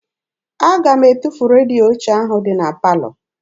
Aga m etufu redio ochie ahụ dị na palọ.